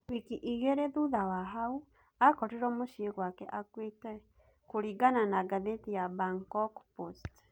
Wiki igiri thutha wa hau, akorirwo mũcie gwake akuite, kũringana na gatheti ya Bangkok Post.